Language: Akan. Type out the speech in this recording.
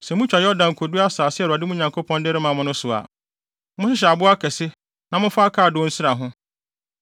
Sɛ mutwa Yordan kodu asase a Awurade, mo Nyankopɔn no, de rema mo no so a, monhyehyɛ abo akɛse na momfa akaadoo nsra ho.